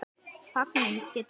Fanir getur þýtt